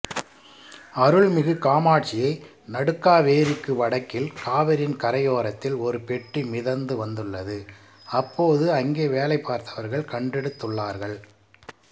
அருள்மிகு காமாட்சியை நடுக்காவேரிக்கு வடக்கில் காவிரியின் கரையோரத்தில் ஒரு பெட்டி மிதந்து வந்துள்ளது அப்போது அங்கே வேலை பார்த்தவர்கள் கண்டெடுத்துள்ளார்கள்